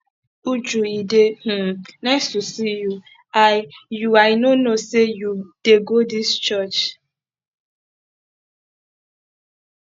uju e dey um nice to see you i you i no know say you dey go dis church